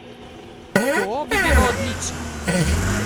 To bi bilo odlično!